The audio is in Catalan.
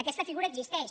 aquesta figura existeix